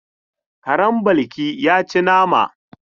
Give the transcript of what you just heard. Karen Balki ya ci nama.